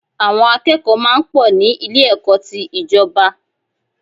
Àwọn akẹ́kọ̀ọ́ máa ń pọ̀ ní Ilé-ẹ̀kọ́ ti ìjọba